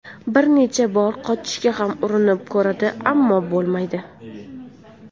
Bir necha bor qochishga ham urinib ko‘radi, ammo bo‘lmaydi.